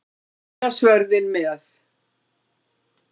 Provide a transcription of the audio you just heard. Og víða svörðinn með.